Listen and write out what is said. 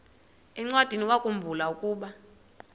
encwadiniwakhu mbula ukuba